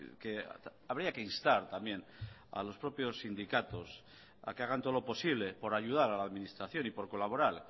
que habría que instar también a los propios sindicatos a que hagan todo lo posible por ayudar a la administración y por colaborar